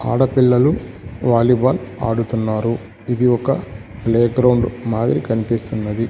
ఆడపిల్లలు వాలీబాల్ ఆడుతున్నారు ఇది ఒక ప్లేగ్రౌండ్ మాదిరి కన్పిస్తున్నది.